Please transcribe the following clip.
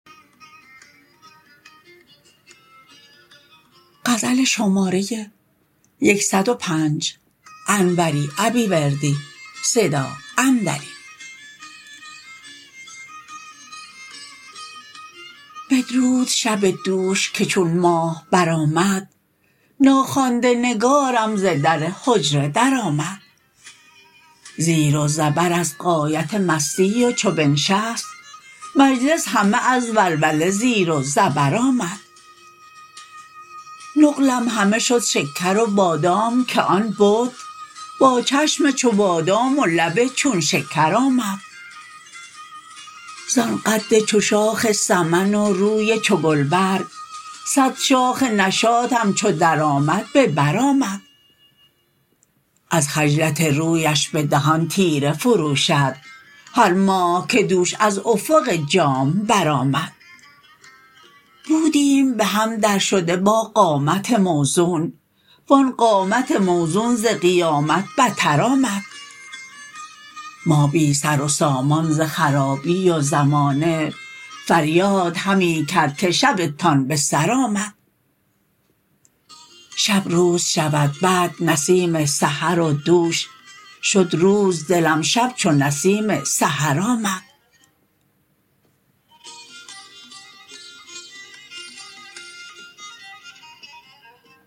بدرود شب دوش که چون ماه برآمد ناخوانده نگارم ز در حجره درآمد زیر و زبر از غایت مستی و چو بنشست مجلس همه از ولوله زیر و زبر آمد نقلم همه شد شکر و بادام که آن بت با چشم چو بادام و لب چون شکر آمد زان قد چو شاخ سمن و روی چو گلبرگ صد شاخ نشاطم چو درآمد به بر آمد از خجلت رویش به دهان تیره فروشد هر ماه که دوش از افق جام برآمد بودیم به هم درشده با قامت موزون وان قامت موزون ز قیامت بتر آمد ما بی سر و سامان ز خرابی و زمانه فریاد همی کرد که شبتان به سر آمد شب روز شود بعد نسیم سحر و دوش شد روز دلم شب چو نسیم سحر آمد